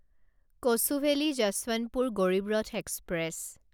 Kochuveli Yesvantpur Garib Rath express